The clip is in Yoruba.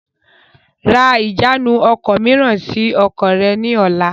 Ra ìjánu ọkọ̀ mìíràn sì ọkọ̀ rẹ ni ọ̀la!